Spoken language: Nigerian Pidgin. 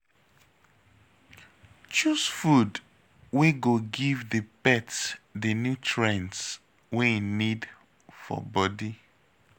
Choose food wey go give di pet di nutrients wey im need for body